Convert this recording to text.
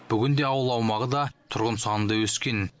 бүгінде ауыл аумағы да тұрғын саны да өскен